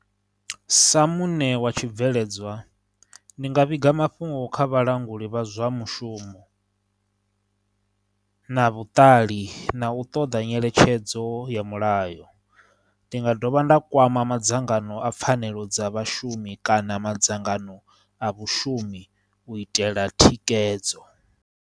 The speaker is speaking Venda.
Sa muṋe wa tshibveledzwa ndi nga vhiga mafhungo kha vhalanguli vha zwa mushumo na vhuṱali, na u ṱoḓa nyeletshedzo ya mulayo, ndi nga dovha nda kwama madzangano a pfhanelo dza vhashumi kana madzangano a vhushumi u itela thikhedzo.